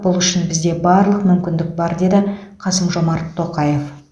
бұл үшін бізде барлық мүмкіндік бар деді қасым жомарт тоқаев